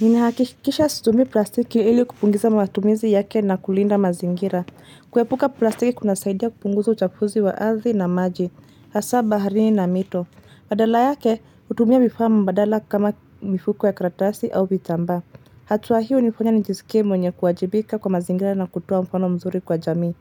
Nina hakikisha situmi plastiki ili kupungiza mawatumizi yake na kulinda mazingira. Kuepuka plastiki kuna saidia kupunguza uchafuzi wa arthi na maji, hasa baharini na mito. Badala yake hutumia vifaa mbadala kama mifuko ya kratasi au vitamba. Hatuwa hiyo nifanya njisike mwenye kuwajibika kwa mazingira na kutowa mfano mzuri kwa jamii.